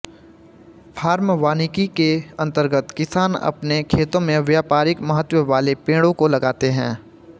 farm वानिकी के अंतर्गत किसान अपने खेतों में व्यापारिक महत्त्व वाले पेड़ों को लगाते हैं